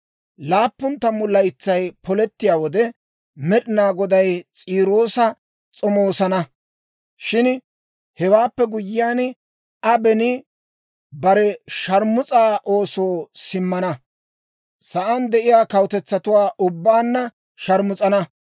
Laappun tammu laytsay polettiyaa wode, Med'inaa Goday S'iiroosa s'omoosana. Shin hewaappe guyyiyaan, Aa beni bare shaarmus'aa oosoo simmana; sa'aan de'iyaa kawutetsatuwaa ubbaanna shaarmus'ana.